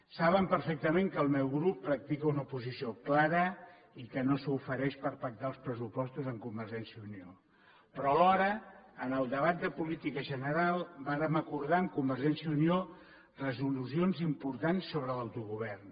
saben perfectament que el meu grup practica una oposició clara i que no s’ofereix a pactar els pressupostos amb convergència i unió però alhora en el debat de política general vàrem acordar amb convergència i unió resolucions importants sobre l’autogovern